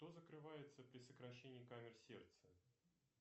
что закрывается при сокращении камер сердца